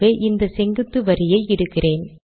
ஆகவே இந்த செங்குத்து வரியை இடுகிறேன்